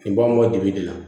Nin b'an bɔ dibi de la